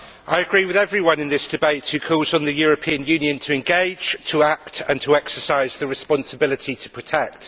Mr President, I agree with everyone in this debate who calls on the European Union to engage, to act and to exercise the responsibility to protect.